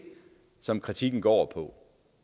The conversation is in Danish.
som kritikken går